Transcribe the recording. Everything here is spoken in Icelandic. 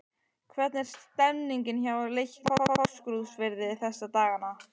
Hvernig er stemningin hjá Leikni Fáskrúðsfirði þessa dagana?